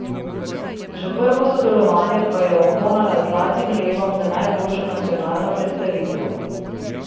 Že prvo sodelovanje pa je okronala z zlatim levom za najboljšo nacionalno predstavitev.